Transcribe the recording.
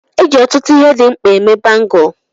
E ji ọtụtụ ihe dị mkpa eme Bangụlu.